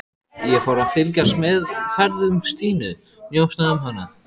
Ég fór að fylgjast með ferðum Stínu, njósna um hana.